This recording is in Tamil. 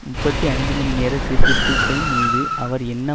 முப்பத்தி ஐந்துமணிநேர சீர்திருத்தத்தின் மீது அவர் என்ன